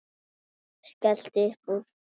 Örn skellti upp úr.